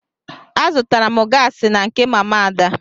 Azụtara m gaasị na nke mama Ada.